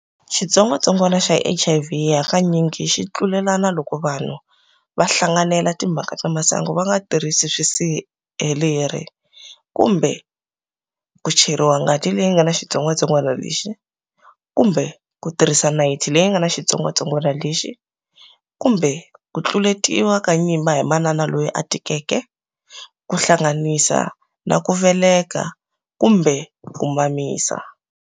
Xitsongwatsongwana xa HIV hakanyingi xitlulelana loko vanhu va hlanganela timhaka ta masangu vanga tirirhisi swisirheleri, kumbe ku cheriwa ngati leyi ngana xitsongwatsongwana lexi, kumbe ku tirhisa nayithi leyi ngana xitsongwatsongwana lexi, kumbe kutluletiwa ka nyimba hi manana loyi atikeke, kuhlanganisa na kuveleka kumbe ku mamisa.